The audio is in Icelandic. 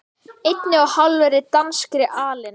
einni og hálfri danskri alin